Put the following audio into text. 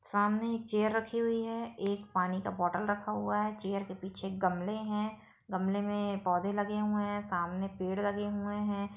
सामने एक चेयर रखी हुई है एक पानी का बोटल रखा हुआ है चेयर के पीछे गमले है गमले में पौधे लगे हुए है सामने पेड़ लगे हुए है।